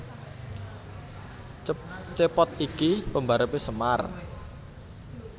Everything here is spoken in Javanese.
Cepot iki pembarepe Semar